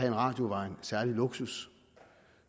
en radio var en særlig luksus